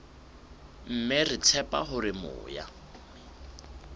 mme re tshepa hore moya